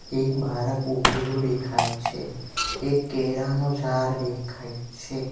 એક બારક ઉભેલું દેખાય છે એક કેરાનું ઝાડ દેખાય છે.